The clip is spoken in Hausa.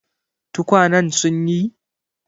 Tukwanen sun yi?